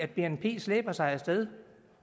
bnp slæber sig afsted